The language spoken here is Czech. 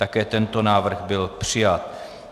Také tento návrh byl přijat.